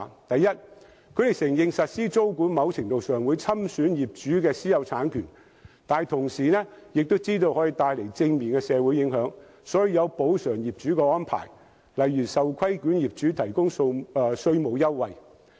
第一，德國承認實施租管在某程度上會侵損業主的私有產權，但亦知道可以帶來正面的社會影響，所以會作出補償業主的安排，例如為受規管業主提供稅務優惠。